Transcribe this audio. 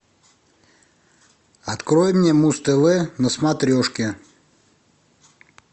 открой мне муз тв на смотрешке